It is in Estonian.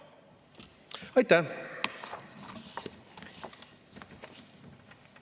Aitäh!